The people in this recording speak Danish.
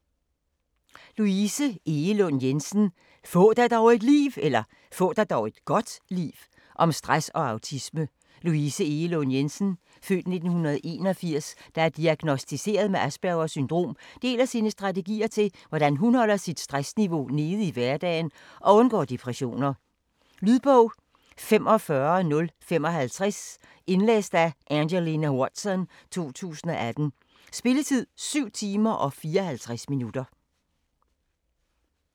Egelund Jensen, Louise: Få dig dog et (godt) liv!: om stress og autisme Louise Egelund Jensen (f. 1981), der er diagnosticeret med Aspergers syndrom, deler sine strategier til hvordan hun holder sit stressniveau nede i hverdagen og undgår depressioner. Lydbog 45055 Indlæst af Angelina Watson, 2018. Spilletid: 7 timer, 54 minutter.